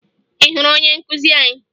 Ị hụrụ onye nkụzi anyị?